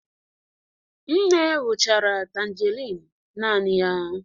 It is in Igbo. Nne gwuchara tangerine naanị ya